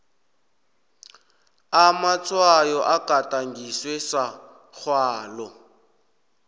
amatshwayo agadangiswe samgwalo